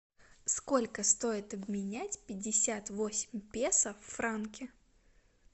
сколько стоит обменять пятьдесят восемь песо в франки